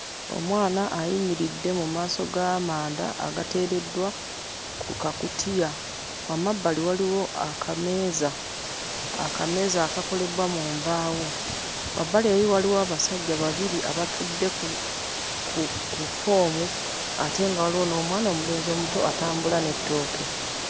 Omwana ayimiridde mu maaso g'amanda agateereddwa ku kakutiya. Amabbali waliwo akameeza, akameeza akakolebbwa mu mbaawo. Wabbali eri waliwo abasajja babiri abatudde ku ku ffoomu, ate nga waliwo n'omwana omulenzi omuto atambula n'ettooke.